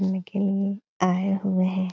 घूमने के लिए आये हुए हैं।